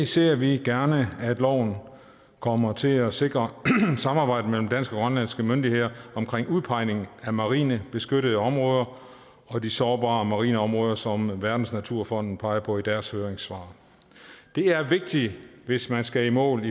ser vi gerne at loven kommer til at sikre et samarbejde mellem danske og grønlandske myndigheder omkring udpegningen af marine beskyttede områder og de sårbare marine områder som verdensnaturfonden peger på i deres høringssvar hvis man skal i mål